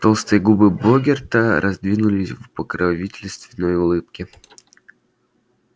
толстые губы богерта раздвинулись в покровительственной улыбке